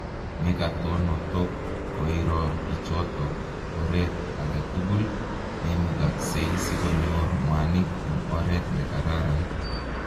Nekatonotok koiro bichotok oret ake tugul neimukaksei sikonyor mwanik eng oret ne kararan